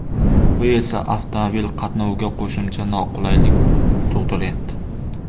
Bu esa avtomobil qatnoviga qo‘shimcha noqulaylik tug‘diryapti.